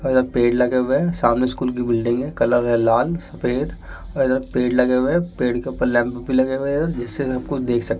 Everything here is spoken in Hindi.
और अ पेड़ लगा हुआ है सामने स्कूल की बिल्डिंग है कलर है लाल सफेद और इधर पेड़ लगे हुए हैं पेड़ के ऊपर लैंप भी लगे हुए हैं जिसे सब कुछ देख सक --